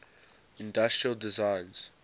industrial designs